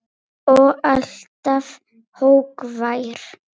Og alltaf hógvær.